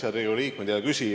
Head Riigikogu liikmed!